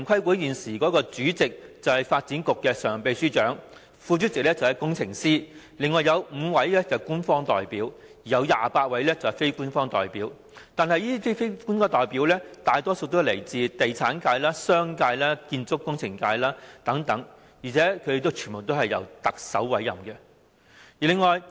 但是，現時城規會主席是發展局常任秘書長，副主席是工程師，另有5名官方代表，以及28名非官方代表，這些非官方代表多數來自地產界、商界、建築工程界等，而且全部均由特首委任。